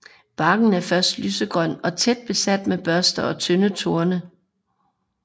Barken er først lysegrøn og tæt besat med børster og tynde torne